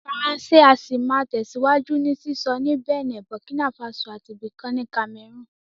Faransé á sì máa tẹ̀síwájú ní sísọ ní Bẹ̀nẹ̀, Burkina Faso àti ibì kan ní Cameroon